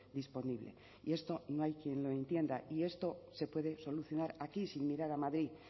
disponible y esto no hay quien lo entienda y esto se puede solucionar aquí sin mirar a madrid